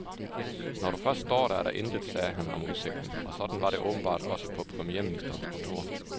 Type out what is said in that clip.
Når du først står der, er der intet, sagde han om udsigten, og sådan var det åbenbart også på premierministerens kontor.